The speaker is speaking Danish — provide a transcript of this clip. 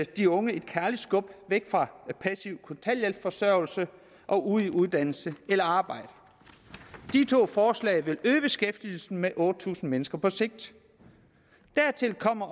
de unge et kærligt skub væk fra passiv kontanthjælpsforsørgelse og ud i uddannelse eller arbejde de to forslag vil øge beskæftigelsen med otte tusind mennesker på sigt dertil kommer